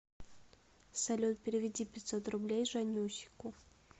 салют переведи пятьсот рублей жаннюсику